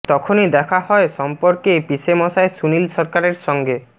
তখনই দেখা হয় সম্পর্কে পিসেমশায় সুনীল সরকারের সঙ্গে